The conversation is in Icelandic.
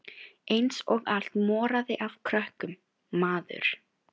Eins og allt moraði af krökkum, maður.